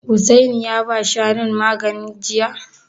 Hussaini ya ba Shanun magani jiya?